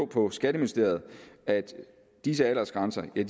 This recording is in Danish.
på skatteministeriet at disse aldersgrænser er